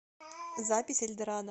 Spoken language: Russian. запись эльдорадо